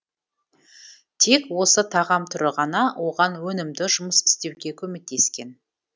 тек осы тағам түрі ғана оған өнімді жұмыс істеуге көмектескен